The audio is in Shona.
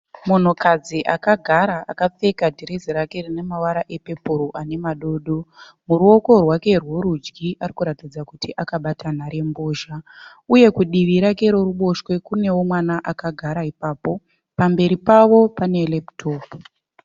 Munhukadzi akagara akapfeka dhirezi rake rine mavara e pepuru ane madodo. Muruoko rwake rwe rudyi arikuratidza kuti akabata nhare mbozha . Uye kudivi rake reruboshwe kunewo mwana akagara ipapo. Pamberi pavo pane lepitopu.